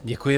Děkuji.